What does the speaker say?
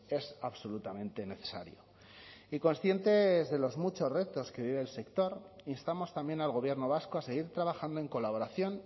es absolutamente necesario y conscientes de los muchos retos que vive el sector instamos también al gobierno vasco a seguir trabajando en colaboración